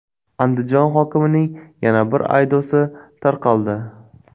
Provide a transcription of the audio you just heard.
Andijon hokimining yana bir audiosi tarqaldi.